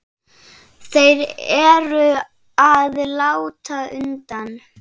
Þeir eru að láta undan.